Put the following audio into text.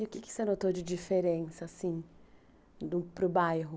E o que você notou de diferença, assim, para o bairro?